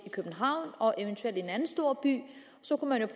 i københavn og eventuelt en anden storby